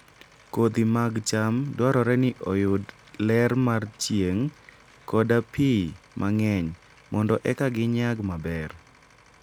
Kodhi mag cham dwarore ni oyud ler mar chieng' koda pi mang'eny mondo eka ginyag maber.